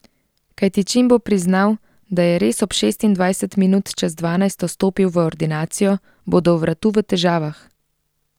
Kajti čim bo priznal, da je res ob šestindvajset minut čez dvanajsto stopil v ordinacijo, bo do vratu v težavah.